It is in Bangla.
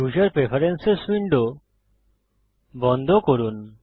ইউসার প্রেফেরেন্সেস উইন্ডো বন্ধ করুন